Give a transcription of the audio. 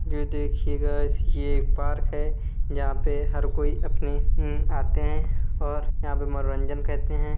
यह देखिगा यह एक पार्क है। यहाँ पर हर कोई अपनी आते हैं और यहाँ पर मनोरंजन करते हैं।